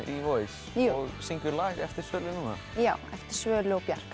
í Voice og syngur lag eftir Svölu núna já eftir Svölu og Bjarka